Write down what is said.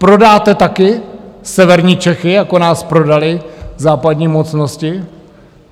Prodáte taky severní Čechy, jako nás prodaly západní mocnosti?